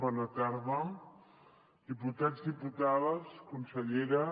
bona tarda diputats diputades consellera